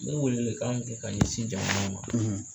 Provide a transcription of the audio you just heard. N bɛ ka welewele kan mun kɛ ka ɲɛsin jamana ma.